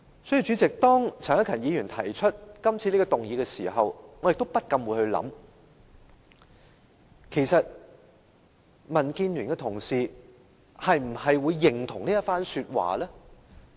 所以，當陳克勤議員提出今次這項議案時，我不禁想其實民建聯的同事會否認同這一番說話？